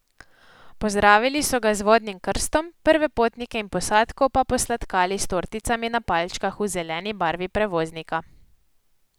Pozdravili so ga z vodnim krstom, prve potnike in posadko pa posladkali s torticami na palčkah v zeleni barvi prevoznika.